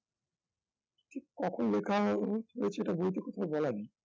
ঠিক কখন লেখা হো~ হয়েছে সেটা বইতে কোথাও লেখা নেই